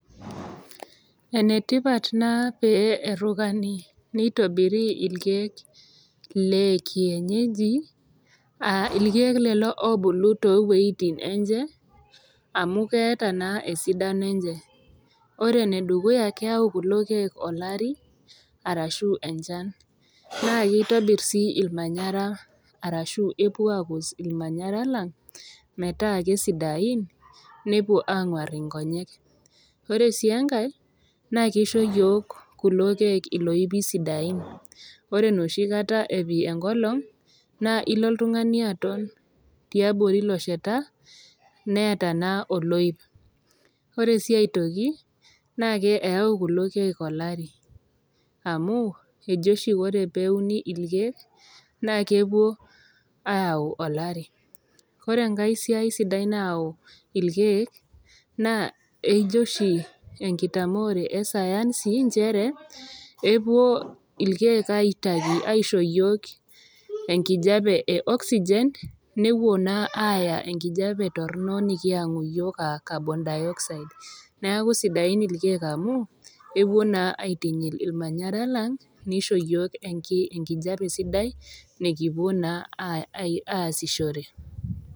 Ene tipat naa pee erukani neitobiri ilkeek le Kienyeji, aa ilkeek lelo oobulu too inwuetin enye amu keata naa esidano enye, ore ene dukuya keyau kulo keek olari, arashu enchan, naa keitobir sii olmanyara anaa epuo aakus olmanyara lang', metaa le sidain nepuo aanguar inkonyek. Ore sii enkai, naa keisho iyiok kulo keek iloipi sidain, ore nooshi kata epi enkolong' naa ilo oltung'ani te abori ilo sheta, neata naa oloip, ore sii aitoki naa keyau kulo keek olari amu aji oshi ore pee euni ilkeek naa kepuo aayau olari, ore enkai siai sidai nayau ilkeek naa keji oshi enkitamoore e sayansi nchere epuo ilkeek aitayu aisho yiok enkijape e Oxygen, nepuo naa aaya enkijape torno nekiyangu iyiok anaa carbon dioxide. Neaku sidain ilkeek amu epuo naa aitinyil ilmanyaran lang neisho iyiok enkijape sidai nekipuo naa aasishore.